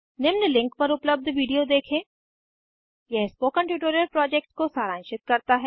निम्न लिंक पर उपलब्ध विडिओ देखें यह स्पोकन ट्यूटोरियल प्रोजेक्ट को सारांशित करता है